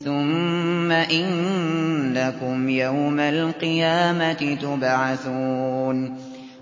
ثُمَّ إِنَّكُمْ يَوْمَ الْقِيَامَةِ تُبْعَثُونَ